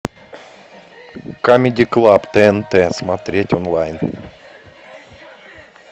камеди клаб тнт смотреть онлайн